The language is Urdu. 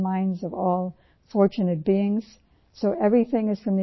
اُن کی بانسری تمام خوش قسمت لوگوں کے دلوں اور ذہنوں کو راغب کرتی ہے